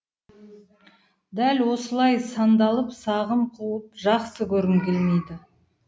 дәл осылай сандалып сағым қуып жақсы көргім келмейді